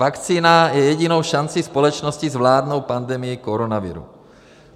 Vakcína je jedinou šancí společnosti zvládnout pandemii koronaviru.